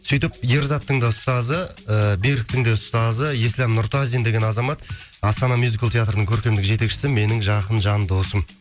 сөйтіп ерзаттың да ұстазы ы беріктің де ұстазы ислям нұртазин деген азамат астана мюзикл театрының көркемдік жетекшісі менің жақын жан досым